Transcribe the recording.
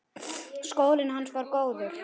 Skólinn hans var góður.